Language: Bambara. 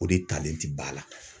O de talen ti ba la.